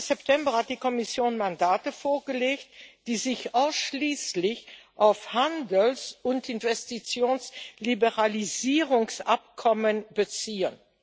Am 13. September hat die Kommission Mandate vorgelegt, die sich ausschließlich auf Handels und Investitionsliberalisierungsabkommen beziehen.